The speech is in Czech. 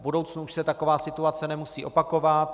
V budoucnu už se taková situace nemusí opakovat.